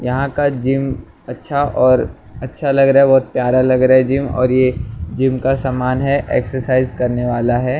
यहाँ का जिम अच्छा और अच्छा लग रहा है बहुत प्यारा लग रहा है जिम और ये जिम का समान है एक्सरसाइज़ करने वाला है ।